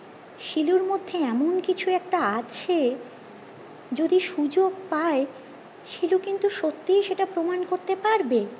শিলু মধ্যে এমন কিছু একটা আছে যদি সুযোগ পায় শিলু কিন্তু সত্যি সেটা প্রমান করতে পারবে